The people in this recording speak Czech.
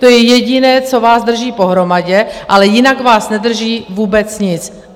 To je jediné, co vás drží pohromadě, ale jinak vás nedrží vůbec nic.